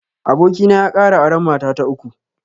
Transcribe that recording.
Abokina ya kara auren mata ta uku